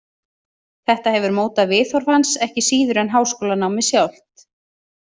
Þetta hefur mótað viðhorf hans ekki síður en háskólanámið sjálft.